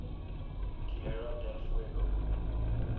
tierra del fuego